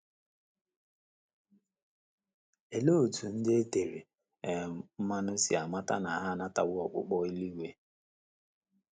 Olee otú ndị e tere um mmanụ si amata na ha anatawo ọkpụkpọ eluigwe?